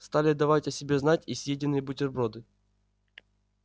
стали давать о себе знать и съеденные бутерброды